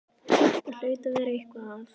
Það hlaut að vera eitthvað að.